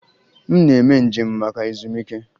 M na-eme njem maka ezumike.